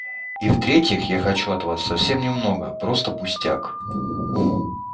и в-третьих я хочу от вас совсем немного просто пустяк